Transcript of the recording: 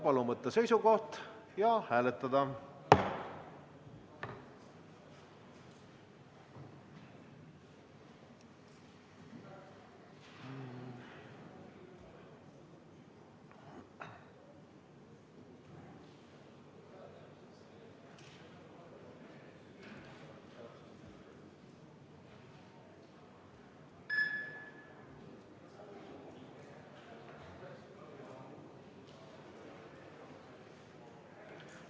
Palun võtta seisukoht ja hääletada!